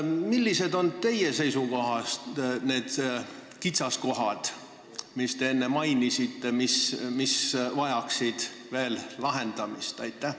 Millised on teie seisukohalt need kitsaskohad, mida te enne mainisite, mis vajaksid veel lahendamist?